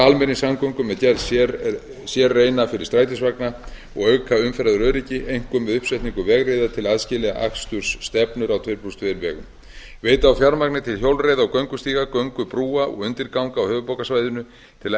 almenningssamgöngur með gerð sérreina fyrir strætisvagna og auka umferðaröryggi einkum með uppsetningu vegriða til að aðskilja akstursstefnur á tuttugu og tvö vegum veita á fjármagn til hjólreiða og göngustíga göngubrúa og undirganga á höfuðborgarsvæðinu til að